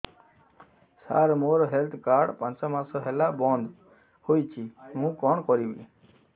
ସାର ମୋର health card ପାଞ୍ଚ ମାସ ହେଲା ବଂଦ ହୋଇଛି ମୁଁ କଣ କରିବି